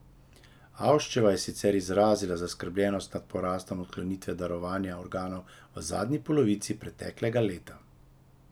Avščeva je sicer izrazila zaskrbljenost nad porastom odklonitve darovanja organov v zadnji polovici preteklega leta.